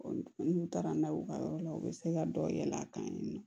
n'u taara n'a ye u ka yɔrɔ la u bɛ se ka dɔ yɛlɛ a kan yen nɔ